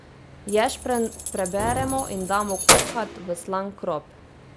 Ješprenj preberemo in damo kuhat v slan krop.